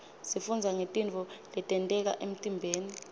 sifundza ngetintfo letenteka emtiimbeni